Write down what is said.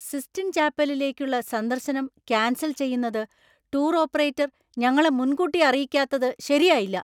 Sistine‍ ചാപ്പലിലേക്കുള്ള സന്ദർശനം cancel‍ ചെയ്യുന്നത് ടൂർ ഓപ്പറേറ്റർ ഞങ്ങളെ മുൻകൂട്ടി അറിയിക്കാത്തത് ശരിയായില്ല.